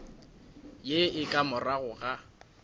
ye e ka morago ga